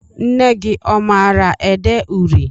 Nne gị ọ maara ede uri?